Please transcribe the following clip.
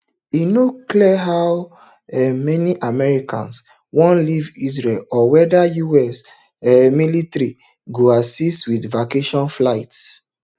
e no clear how um many americans wan leave israel or weda us um military go assist wit evacuation flights